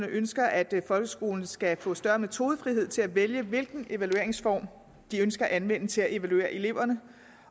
ønsker at folkeskolen skal få større metodefrihed til at vælge hvilken evalueringsform de ønsker anvendt til at evaluere eleverne